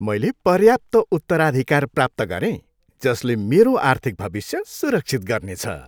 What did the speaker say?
मैले पर्याप्त उत्तराधिकार प्राप्त गरेँ जसले मेरो आर्थिक भविष्य सुरक्षित गर्नेछ।